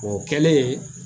O kɛlen